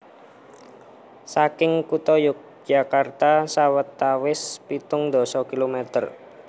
Saking kutha Yogyakarta sawetawis pitung dasa kilometer